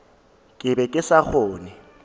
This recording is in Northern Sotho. ke be ke sa kgone